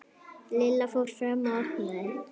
Lilla fór fram og opnaði.